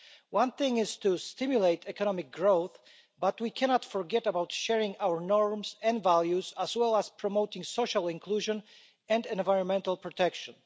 One thing is to stimulate economic growth, but we cannot forget about sharing our norms and values, as well as promoting social inclusion and environmental protection.